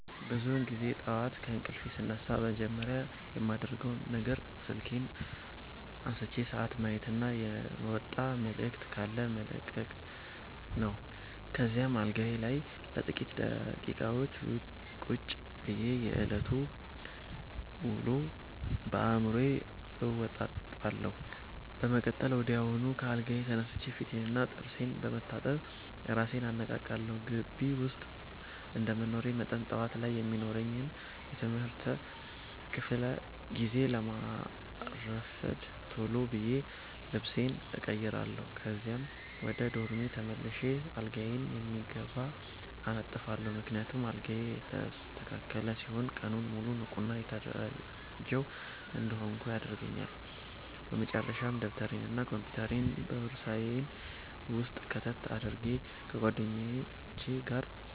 ብዙውን ጊዜ ጠዋት ከእንቅልፌ ስነቃ መጀመሪያ የማደርገው ነገር ስልኬን አንስቼ ሰዓት ማየትና የመጣ መልዕክት ካለ መለቅለቅ ነው። ከዚያም አልጋዬ ላይ ለጥቂት ደቂቃዎች ቁጭ ብዬ የዕለቱን ውሎ በአዕምሮዬ አወጣጣለሁ። በመቀጠል ወዲያውኑ ከአልጋዬ ተነስቼ ፊቴንና ጥርሴን በመታጠብ እራሴን አነቃቃለሁ። ግቢ ውስጥ እንደመኖሬ መጠን፣ ጠዋት ላይ የሚኖረኝን የትምህርት ክፍለ ጊዜ ላለማርፈድ ቶሎ ብዬ ልብሴን እቀይራለሁ። ከዚያም ወደ ዶርሜ ተመልሼ አልጋዬን በሚገባ አነጥፋለሁ፤ ምክንያቱም አልጋዬ የተስተካከለ ሲሆን ቀኑን ሙሉ ንቁና የተደራጀሁ እንድሆን ያደርገኛል። በመጨረሻም ደብተሬንና ኮምፒውተሬን በቦርሳዬ ውስጥ ከተት አድርጌ፣ ከጓደኞቼ ጋር